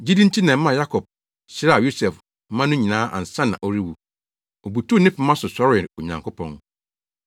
Gyidi nti na ɛmaa Yakob hyiraa Yosef mma no nyinaa ansa na ɔrewu. Obutuw ne pema so sɔree Onyankopɔn.